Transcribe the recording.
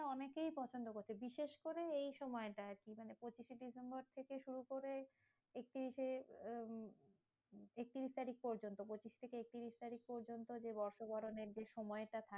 টা অনেকেই পছন্দ করছে। বিশেষ করে এই সময়টা আরকি মানে পঁচিশে ডিসেম্বর থেকে শুরু করে একত্রিশে আম একত্রিশ তারিখ পর্যন্ত। পঁচিশ থেকে একত্রিশ তারিখ পর্যন্ত যে বর্ষবরণের যে সময়টা থাকে।